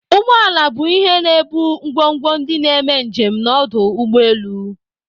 Ụgbọ ala bu ihe ebu ngwogwo ndi n'eme njem n'ọdụ ụgbọ elu.